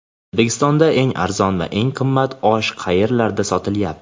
O‘zbekistonda eng arzon va eng qimmat osh qayerlarda sotilyapti?.